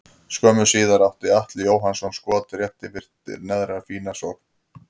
Skömmu síðar átti Atli Jóhannsson skot rétt yfir eftir aðra fína sókn.